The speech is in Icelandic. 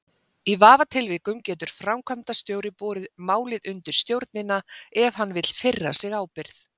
Í vafatilvikum getur framkvæmdastjóri borið málið undir stjórnina ef hann vill firra sig ábyrgð.